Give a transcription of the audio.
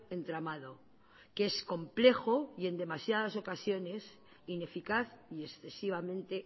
entramado que es complejo y en demasiadas ocasiones ineficaz y excesivamente